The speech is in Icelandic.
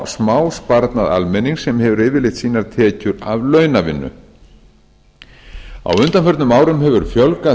smásparnað almennings sem hefur yfirleitt sínar tekjur af launavinnu á undanförnum árum hefur fjölgað